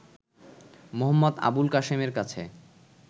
মো. আবুল কাসেমের কাছে